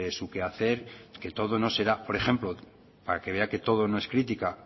su quehacer que todo no será por ejemplo para que vea que todo no es crítica